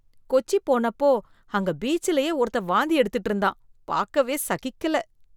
கொச்சி போனப்போ அங்க பீச்சுலயே ஒருத்தன் வாந்தி எடுத்துட்டு இருந்தான், பாக்கவே சகிக்கல.